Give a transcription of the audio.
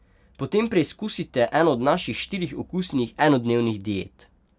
Potem preskusite eno od naših štirih okusnih enodnevnih diet!